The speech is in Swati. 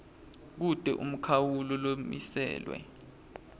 kute umkhawulo lomiselwe